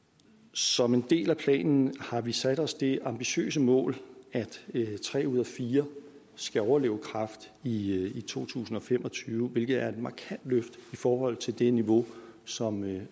som en del af planen har vi sat os det ambitiøse mål at tre ud af fire skal overleve kræft i to tusind og fem og tyve hvilket er et markant løft i forhold til det niveau som vi